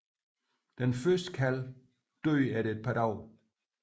Den første kalv døde efter et par dage